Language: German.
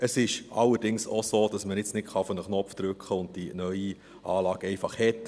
Es ist allerdings auch so, dass man nicht auf einen Knopf drücken kann und die neue Anlage einfach hat.